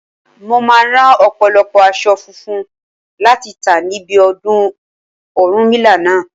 Mo máa rán ọ̀pọ̀lọpọ̀ aṣọ funfun láti tà níbi ọdún Ọ̀rúnmìlà náà.